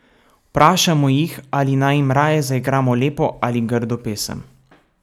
Vprašamo jih, ali naj jim raje zaigramo lepo ali grdo pesem.